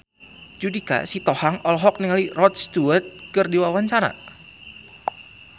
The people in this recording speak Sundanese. Judika Sitohang olohok ningali Rod Stewart keur diwawancara